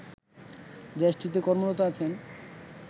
দেশটিতে কর্মরত আছেন